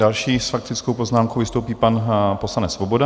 Další s faktickou poznámkou vystoupí pan poslanec Svoboda.